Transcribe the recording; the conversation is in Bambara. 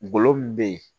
N golo min be yen